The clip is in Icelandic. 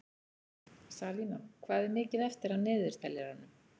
Salína, hvað er mikið eftir af niðurteljaranum?